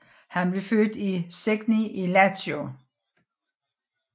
Han blev født i Segni i Lazio